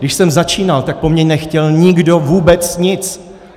Když jsem začínal, tak po mně nechtěl nikdo vůbec nic.